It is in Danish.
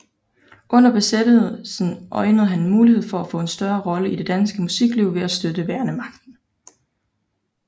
Under besættelsen øjnede han en mulighed for at få en større rolle i det danske musikliv ved at støtte værnemagten